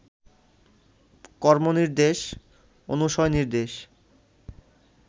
কর্মনির্দেশ, অনুশয়নির্দেশ